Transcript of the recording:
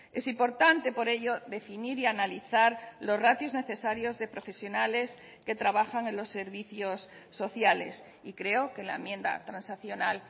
es importante por ello definir y analizar los ratios necesarios de profesionales que trabajan en los servicios sociales y creo que la enmienda transaccional